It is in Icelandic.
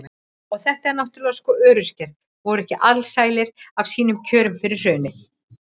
Og þetta náttúrulega sko, öryrkjar voru ekki alsælir af sínum kjörum fyrir hrunið.